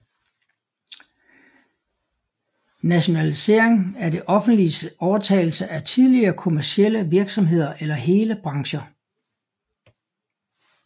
Nationalisering er det offentliges overtagelse af tidligere kommercielle virksomheder eller hele brancher